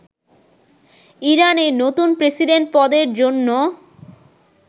ইরানে নতুন প্রেসিডেন্ট পদের জন্য